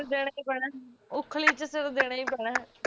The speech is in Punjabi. ਦੇਣਾ ਈ ਪੈਣਾ ਐ ਉਖਲੀ ਚ ਸਿਰ ਦੇਣਾ ਈ ਪੈਣਾ ਐ